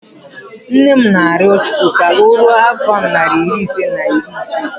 Nne m na-arịọ Chukwu ka o ruo afọ narị ise na iri ise